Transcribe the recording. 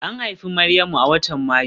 An haifi Maryamu a watan Mayu